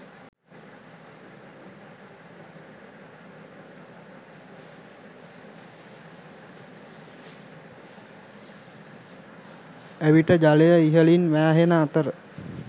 එවිට ජලය ඉහළින් වෑහෙන අතර